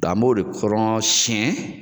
Dɔn an b'o de kɔrɔn sɛn